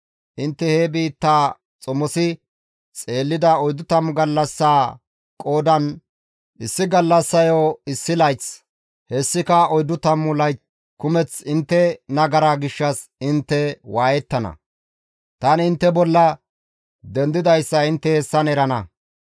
Intte he biittaa xomosi xeellida 40 gallassaa qoodan issi gallassayo issi layth, hessika oyddu tammu layth kumeth intte intte nagaraa gishshas waayettana; tani intte intte bolla dendidayssa intte hessan erana.